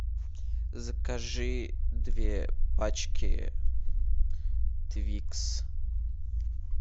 закажи две пачки твикс